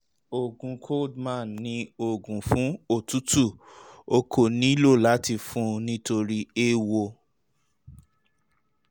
oògùn coldmann ni oògùn fún òtútù; o kò nílò láti fún un nítorí eéwo